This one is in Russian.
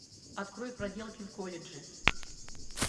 открой проделки в колледже